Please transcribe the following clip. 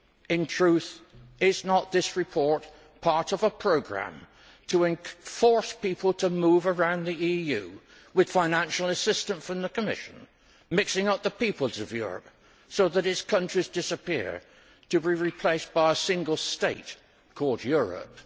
In truth, is not this report part of a programme to force people to move around the EU with financial assistance from the Commission, mixing up the peoples of Europe so that its countries disappear, to be replaced by a single state called Europe?